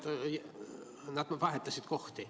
Tablool nimed vahetasid kohti.